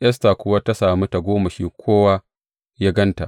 Esta kuwa ta sami tagomashin kowa da ya ganta.